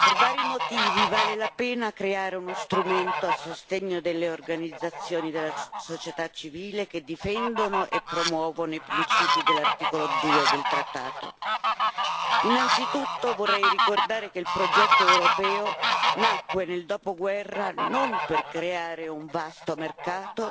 Signora Presidente, onorevoli colleghi, per vari motivi vale la pena creare uno strumento a sostegno delle organizzazioni della società civile che difendono e promuovono i principi dell'articolo 2 del trattato. Innanzitutto, vorrei ricordare che il progetto europeo nacque nel dopoguerra non per creare un vasto mercato